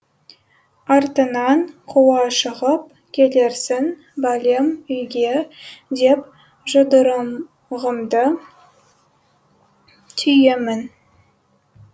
артынан қуа шығып келерсің бәлем үйге деп жұдырығымды түйемін